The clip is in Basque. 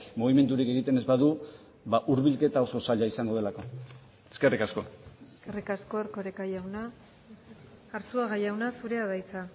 mugimendurik egiten ez badu hurbilketa oso zaila izango delako eskerrik asko eskerrik asko erkoreka jauna arzuaga jauna zurea da hitza